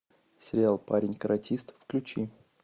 сериал парень каратист включи